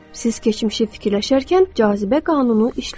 Siz keçmişi fikirləşərkən cazibə qanunu işləyir.